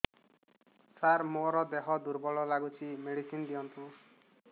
ସାର ମୋର ଦେହ ଦୁର୍ବଳ ଲାଗୁଚି ମେଡିସିନ ଦିଅନ୍ତୁ